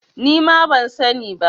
Nima ban sani ba.